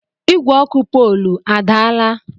Igwe ọkụ polu a, ọ daala?